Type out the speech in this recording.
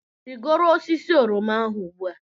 Rigoro osisi oroma ahụ ugbu a!